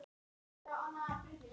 Þessu má skipta í þrennt.